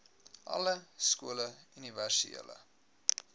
alle skole universele